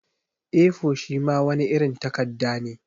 A4 shima wani irin takadda ne.